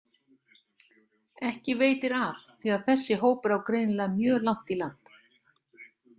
Ekki veitir af því að þessi hópur á greinilega mjög langt í land.